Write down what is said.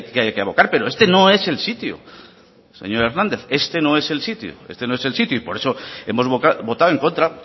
que abordar pero este no es el sitio señor hernández este no es el sitio y por eso hemos votado en contra